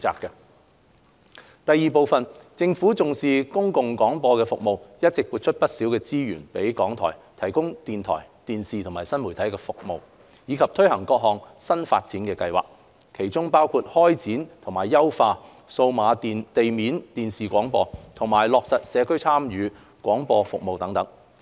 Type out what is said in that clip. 二政府重視公共廣播的服務，一直撥出不少資源予港台以提供電台、電視及新媒體服務，以及推行各項新發展計劃，其中包括開展及優化數碼地面電視廣播、落實社區參與廣播服務等。